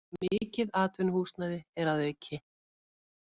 Mikið atvinnuhúsnæði er að auki